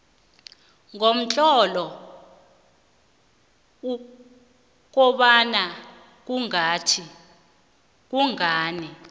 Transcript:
ngomtlolo ukobana kungani